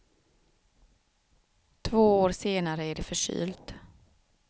Två år senare är det förkylt.